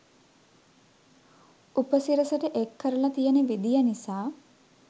උපසිරසට එක් කරලා තියෙන විදිය නිසා